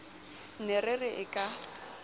ne re re kiai ka